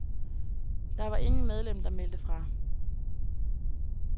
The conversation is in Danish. Der var ingen medlem, der meldte fra.